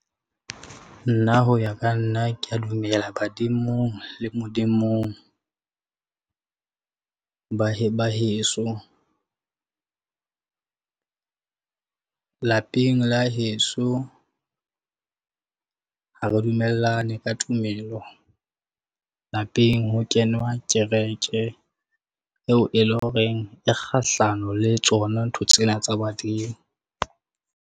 Nna ho ya ka nna kea dumela badimong le Modimong, ba heso. Lapeng la heso, ha re dumellane ka tumelo, lapeng ho kenwa kereke eo e leng horeng e kgahlano le tsona ntho tsena tsa badimo.